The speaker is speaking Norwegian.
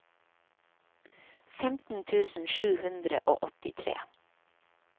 femten tusen sju hundre og åttitre